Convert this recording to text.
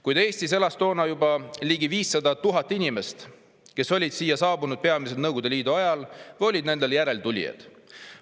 Kuid Eestis elas toona juba ligi 500 000 inimest, kes olid siia saabunud peamiselt Nõukogude Liidu ajal või olid nende järeltulijad.